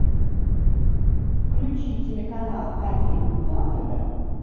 включи телеканал один на тв